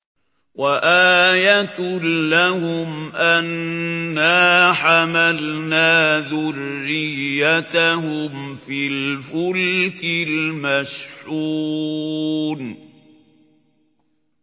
وَآيَةٌ لَّهُمْ أَنَّا حَمَلْنَا ذُرِّيَّتَهُمْ فِي الْفُلْكِ الْمَشْحُونِ